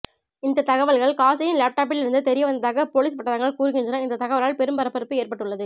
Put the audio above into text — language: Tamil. இந்த தகவல்கள் காசியின் லேப்டாப்பில் இருந்து தெரிய வந்ததாக போலீஸ் வட்டாரங்கள் கூறுகின்றன இந்த தகவலால் பெரும் பரபரப்பு ஏற்பட்டுள்ளது